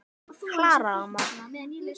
Klara amma.